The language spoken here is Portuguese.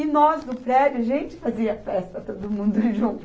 E nós, do prédio, a gente fazia festa todo mundo junto.